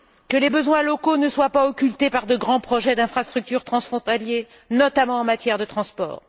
Que les besoins locaux ne soient pas occultés par de grands projets d'infrastructure transfrontaliers, notamment en matière de transport.